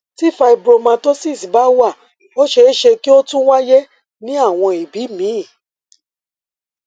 tí fibromatosis bá wà ó ṣeé ṣe kí ó tún wáyé ní àwọn ibi míì